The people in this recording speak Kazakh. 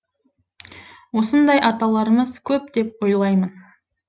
осындай аталарымыз көп деп ойлаймын